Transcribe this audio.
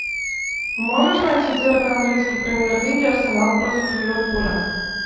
можешь найти дерби английской премьер лиги арсенал против ливерпуля